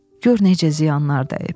Gör necə ziyanlar dəyib.